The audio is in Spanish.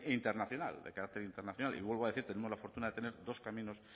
internacional de carácter internacional y vuelvo a decir tenemos la fortuna de tener dos caminos